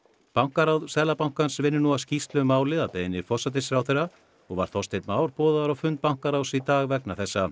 bankaráð Seðlabankans vinnur að skýrslu um málið að beiðni forsætisráðherra og var Þorsteinn Már boðaður á fund bankaráðs í dag vegna þessa